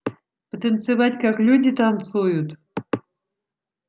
потанцевать как люди танцуют